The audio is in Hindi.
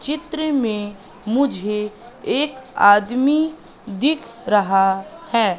चित्र में मुझे एक आदमी दिख रहा है।